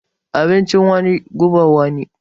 Abincin wani gubar wani.